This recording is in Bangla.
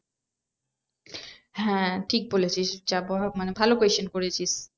হ্যাঁ ঠিক বলেছিস মানে ভালো question করেছিস।